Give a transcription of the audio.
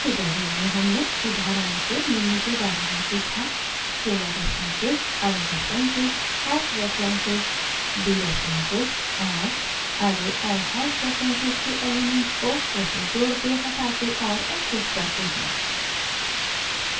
इस ट्यूटोरियल में हमने उदाहरणों से निम्न के बारे में सीखा: